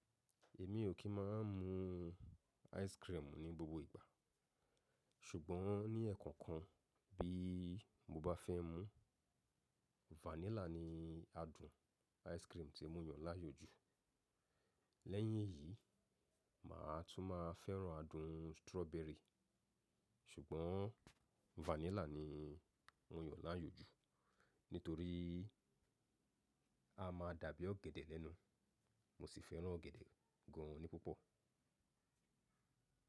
Èmi ò kí máà ń mu ice cream ní gbogbo ìgbà, ṣùgbọ́n ní ẹ̀ẹ̀kọ̀kan bí mo bá fẹ́ mu, vanilla ní adùn ice cream tí mo yàn láàyò jù. Lẹ́yìn eyí, màá tún máa fẹ́ràn adùn strawberry, ṣùgbọ́n vanilla ni mò yàn láàyò jù, nítorí a máa dàbí ọ̀gẹ̀dẹ̀ lẹ́nu, mo sì fẹ́ràn ọ̀gẹ̀dẹ̀ gan an ní púpọ̀.